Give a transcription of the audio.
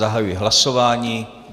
Zahajuji hlasování.